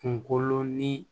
Kunkolo ni